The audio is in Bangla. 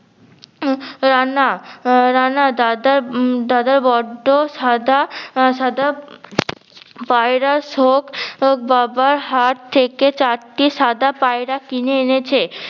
রান্না রান্না দাদার দাদার বড্ডো সাদা আহ সাদা পায়রার শখ বাবা হাট থেকে চারটি সাদা পায়রা কিনে এনেছে।